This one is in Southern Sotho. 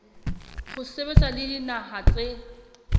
ho sebetsa le dinaha tse